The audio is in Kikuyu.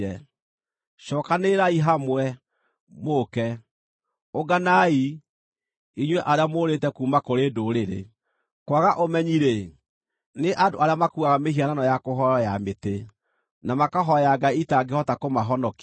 “Cookanĩrĩrai hamwe, mũũke; ũnganai, inyuĩ arĩa mũũrĩte kuuma kũrĩ ndũrĩrĩ. Kwaga ũmenyi-rĩ, nĩ andũ arĩa makuuaga mĩhianano ya kũhooywo ya mĩtĩ, na makahooya ngai itangĩhota kũmahonokia.